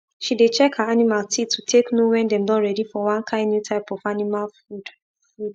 she dey check her animal teeth to take know wen dem don ready for one kind new type of animal food food